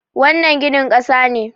wannan ginin kasa ne